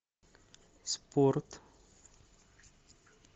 спорт